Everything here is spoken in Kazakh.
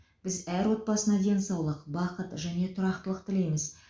біз әр отбасына денсаулық бақыт және тұрақтылық тілейміз